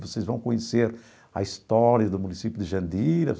Vocês vão conhecer a história do município de Jandira.